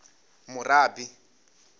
murabi